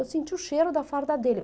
Eu senti o cheiro da farda dele.